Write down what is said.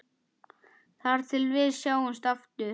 Þar til við sjáumst aftur.